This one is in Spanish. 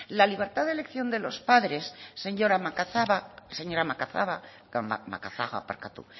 la libertad de elección de los padres señora macazaga